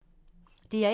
DR1